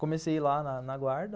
Comecei lá na na guarda.